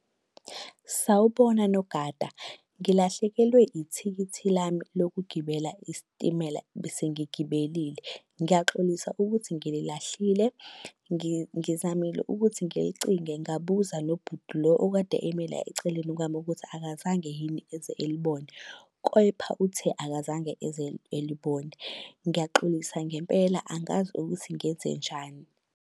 Sawubona, nogada. Ngilahlekelwe ithikithi lami lokugibela isitimela bese ngigibelile. Ngiyaxolisa ukuthi ngililahlile, ngizamile ukuthi ngilicinge ngabuza nobhuti lo okade eme la eceleni kwami ukuthi akazange yini eze alibone. Kepha uthe akazange eze elibone. Ngiyaxolisa ngempela angazi ukuthi ngenzenjani.